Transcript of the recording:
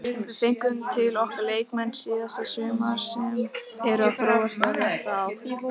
Síðustu þrír leikir sýna hversu langt þeir eru komnir, þeir eru með virkilega flott lið.